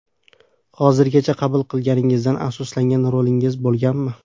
Hozirgacha qabul qilganizdan afsuslangan rolingiz bo‘lganmi?